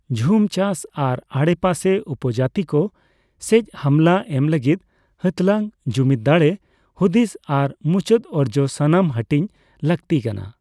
ᱡᱷᱩᱢ ᱪᱟᱥ ᱟᱨ ᱟᱰᱮᱯᱟᱥᱮ ᱩᱯᱡᱟᱹᱛᱤᱠᱚ ᱥᱮᱪ ᱦᱟᱢᱞᱟ ᱮᱢ ᱞᱟᱹᱜᱤᱫ ᱦᱟᱸᱛᱞᱟᱝ, ᱡᱩᱢᱤᱫ ᱫᱟᱲᱮ ᱦᱩᱫᱤᱥ ᱟᱨ ᱢᱩᱪᱟᱹᱫ ᱚᱨᱡᱚ ᱥᱚᱢᱟᱱ ᱦᱟᱴᱤᱧ ᱞᱟᱹᱠᱛᱤ ᱠᱟᱱᱟ᱾